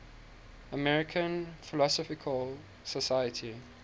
american philosophical society